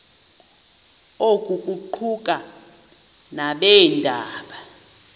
oku kuquka nabeendaba